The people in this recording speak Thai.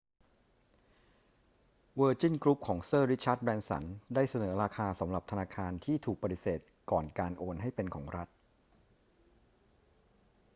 เวอร์จินกรุ๊ปของเซอร์ริชาร์ด แบรนสันได้เสนอราคาสำหรับธนาคารที่ถูกปฏิเสธก่อนการโอนให้เป็นของรัฐ